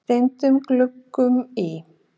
steindum gluggum í